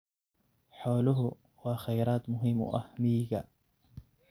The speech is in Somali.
Xooluhu waa kheyraad muhiim u ah miyiga.